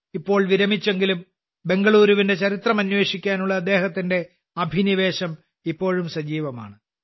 ഇപ്പോൾ വിരമിച്ചെങ്കിലും ബെംഗളൂരുവിന്റെ ചരിത്രം അന്വേഷിക്കാനുള്ള അദ്ദേഹത്തിന്റെ അഭിനിവേശം ഇപ്പോഴും സജീവമാണ്